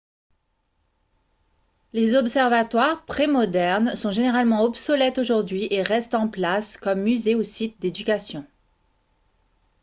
les observatoires prémodernes sont généralement obsolètes aujourd'hui et restent en place comme musées ou sites d'éducation